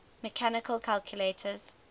mechanical calculators